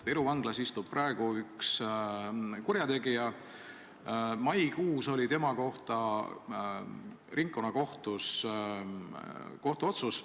Viru Vanglas istub praegu üks kurjategija, maikuus oli tema kohta ringkonnakohtus kohtuotsus.